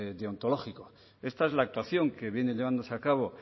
deontológico esta es la actuación que viene llevándose a cabo